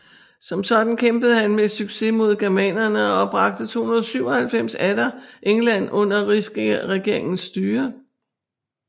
Som sådan kæmpede han med succes mod germanerne og bragte 297 atter England under rigsregeringens styre